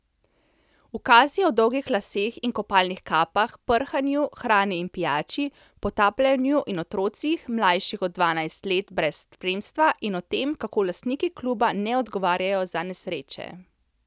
Ukazi o dolgih laseh in kopalnih kapah, prhanju, hrani in pijači, potapljanju in otrocih, mlajših od dvanajst let brez spremstva, in o tem, kako lastniki kluba ne odgovarjajo za nesreče ...